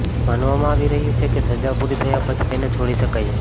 માનવામાં આવી રહ્યુ છે કે સજા પૂરી થયા પછી તેને છોડી શકાય છે